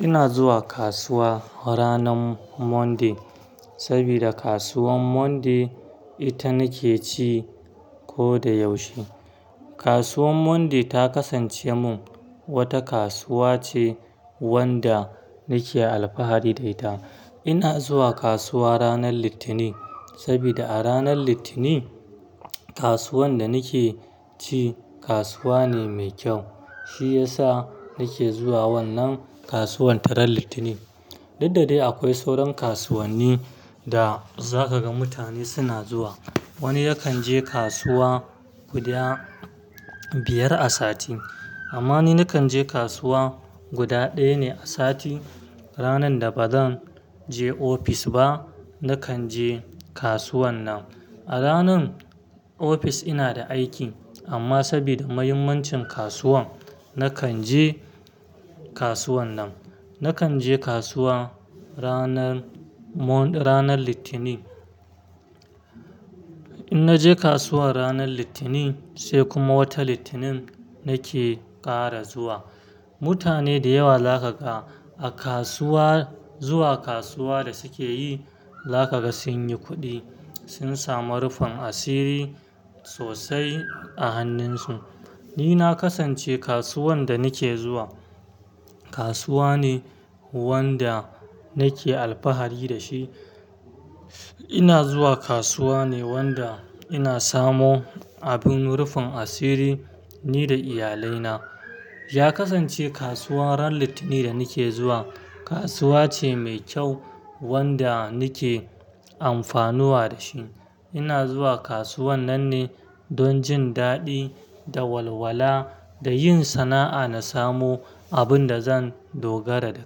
Ina zuwa kasuwa ranar Monday saboda kasuwan Monday ita nake ci ko da yaushe. Kasuwan Monday ta kasance mun wata kasuwa ce wanda nake alfahari da ita. Ina zuwa kasuwa ranar Litinin sabida a ranar Litinin kasuwan da nake ci kasuwa ne mai kyau. Shi yasa nake zuwa wannan kasuwan ta ran Litinin. Dudda dai akwai sauran kasuwanni da zaka ga mutane suna zuwa. Wani yakan je kasuwa guda biyar a sati amma ni nakanje kasuwa guda daya ne a sati. Ranar da bazan je ofis ba nakan je kasuwan nan. A ranan ofis ina da aiki amma saboda muhimmancin kasuwan nakan je kasuwan nan. Nakan je kasuwa ranar Mon-- ranar Litinin. In naje kasuwa ranar Litinin sai kuma wata Litinin nake ƙara zuwa. Mutane dayawa zakaga a kasuwa zuwa kasuwa da sukeyi zaka ga sun yi kuɗi, sun samu rufin asiri sosai a hannunsu. Ni na ƙasance kasuwan da nake zuwa kasuwa ne wanda nake alfahari dashi, ina zuwa kasuwa ne wanda ina samo abin rufin asiri ni da iyalai na ya kasance kasuwa ran Litinin da nake zuwa kasuwa ce mai kyau wanda nake amfanuwa da shi. Ina zuwa kasuwan nan ne don jin daɗi da walwala da yin sana'a na samo abin da zan dogara da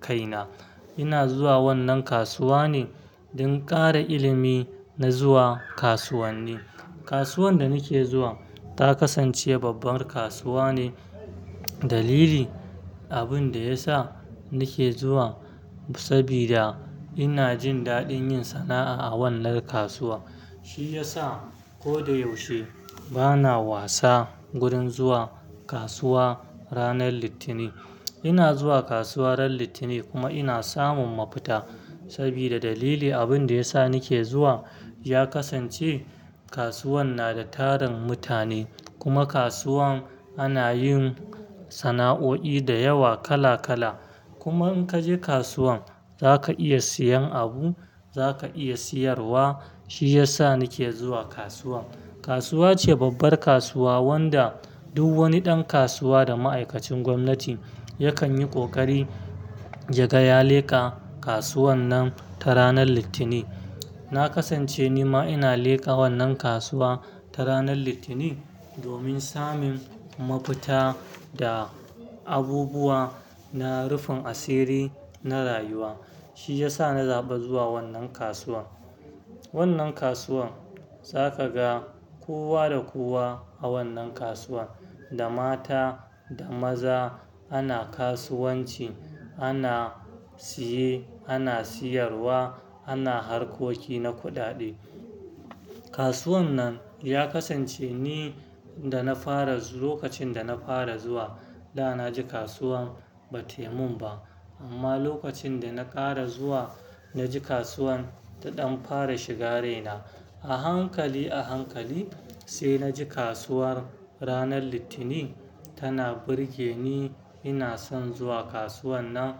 kai na. Ina zuwa wannan kasuwa ne don ƙara ilimi na zuwa kasuwanni. Kasuwan da nake zuwa ta ƙasance babbar kasuwa ne. Dalili abin da yasa nake zuwa sabida ina jin daɗin yin sana'a a wannan kasuwa. Shi yasa ko da yaushe bana wasa wurin zuwa kasuwa ranar Litinin. Ina zuwa kasuwa ran Litinin kuma ina samun mafita sabida dalili abin da yasa nake zuwa yakasance kasuwan na da tarun mutane kuma kasuwan ana yin sana'oi dayawa kala kala kuma in kaje kasuwan zaka iya siyan abu, zaka iya siyarwa. Shi yasa nake zuwa kasuwa. Kasuwa ce babbar kasuwa wanda duk wani ɗan kasuwa da ma'aikacin gwamnati yakan yi ƙoƙari ya ga ya leƙa kasuwan nan ta ranar Litinin. Na kasance ni ma ina leƙa wannan kasuwa ta ranar Litinin domin samun mafita da abubuwa na rufin asiri na rayuwa. Shi yasa na zaɓi zuwa wannan kasuwa. Wannan kasuwan zaka ga kowa da kowa a wannan kasuwa, da mata da maza ana kasuwanci, ana siye, ana siyarwa, ana harkoki na kuɗaɗe. Kasuwan nan ya kasance ni da na fara zu-- lokacin da na fara zuwa da na ji kasuwan ba taimun ba amma lokacin da na ƙara zuwa na ji kasuwan ta ɗan fara shiga raina. A hankali, a hankali sai na ji kasuwar ranar Litinin tana burge ni. Ina son zuwa kasuwan nan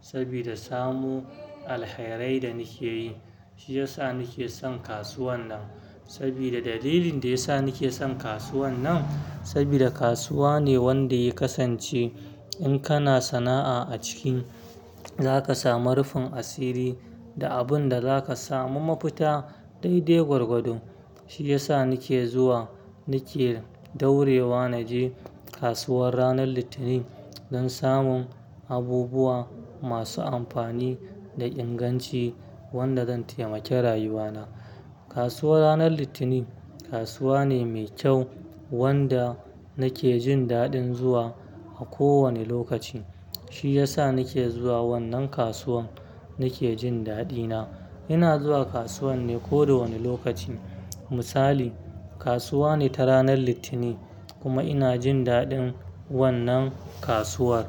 sabida samu alherai da nake yi. Shi yasa nake son kasuwan nan sabida dalilin da yasa nake son kasuwan nan sabida kasuwa ne wanda ya kasance in kana sana'a a ciki zaka samu rufin asiri da abin da zaka samu mafita daidai gwargwado. Shi yasa nake zuwa, nake daurewa naje kasuwar ranar Litinin don samun abubuwa masu amfani da inganci wanda zan taimake rayuwa na. Kasuwar ranar Litinin kasuwa ne mai kyau wanda nake jin daɗin zuwa a kowane lokaci. Shi yasa nake zuwa wannan kasuwan nake jin daɗi na. Ina zuwa kasuwan ne ko da wanne lokaci. Misali kasuwa ne ta ranar Litinin kuma ina jin daɗin wannan kasuwar.